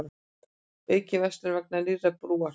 Aukin verslun vegna nýrrar brúar